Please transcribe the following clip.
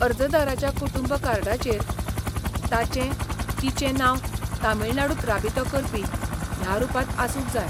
अर्जदाराच्या कुटुंब कार्डाचेर ताचें, तिचें नांव तमिळनाडूंत राबितो करपी ह्या रूपांत आसूंक जाय.